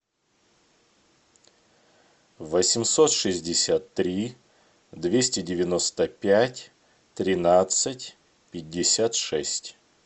восемьсот шестьдесят три двести девяносто пять тринадцать пятьдесят шесть